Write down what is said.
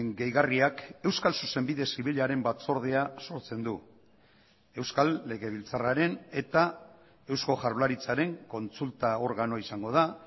gehigarriak euskal zuzenbide zibilaren batzordea sortzen du euskal legebiltzarraren eta eusko jaurlaritzaren kontsulta organoa izango da